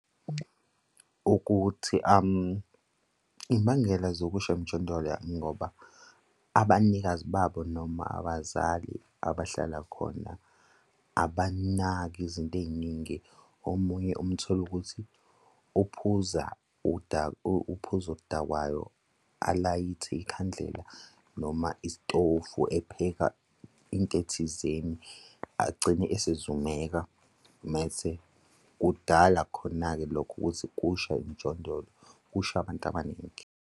Ukuthi imbangela zobusha emjondolo ingoba abanikazi babo noma abazali abahlala khona, abanaki izinto ey'ningi. Omunye umthole ukuthi uphuza uphuza uphuzo oludakwayo alayithe ikhandlela noma istofu epheka into thizeni agcine esezumeka mese kudala khona-ke lokho ukuthi, kushe emjondolo, kushe abantu abaningi.